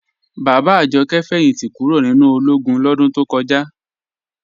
Bàbá Àjọ̀kẹ̀ fẹ́yìntí kúró̀ nínu ọlógún lọdún tó kọja.